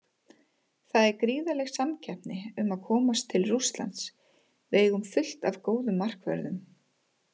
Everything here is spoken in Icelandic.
Það er gríðarleg samkeppni um að komast til Rússlands, við eigum fullt af góðum markvörðum.